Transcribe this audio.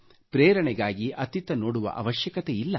ಪ್ರೇರಣೆಗಾಗಿ ಅತ್ತಿತ್ತ ನೋಡುವ ಅವಶ್ಯಕತೆಯಿಲ್ಲ